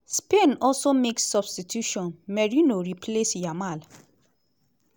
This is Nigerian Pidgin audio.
spain also make substitutiton merino replace yamal.